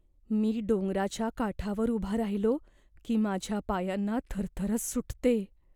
मी डोंगराच्या काठावर उभा राहिलो की माझ्या पायांना थरथरच सुटते.